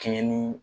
Kɛɲɛ ni